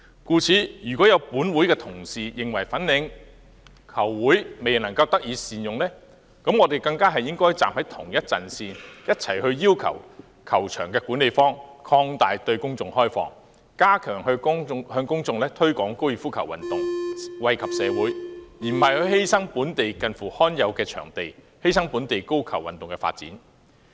故此，要是會內同事認為粉嶺高爾夫球場未獲善用，我們更應該站在同一陣線，共同要求球場管理方擴大對公眾開放，加強向公眾推廣高爾夫球運動，以惠及社會，而不是犧牲本地罕有的場地及本地高爾夫球運動的發展。